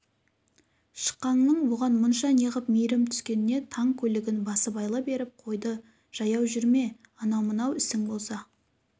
шықаңның бұған мұнша неғып мейірім түскеніне таң көлігін басыбайлы беріп қойды жаяу жүрме анау-мынау ісің болса